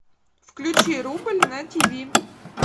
включи рубль на ти ви